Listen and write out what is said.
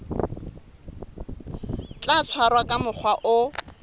tla tshwarwa ka mokgwa o